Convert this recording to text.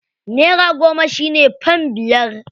Naira goma shi ne fam biyar.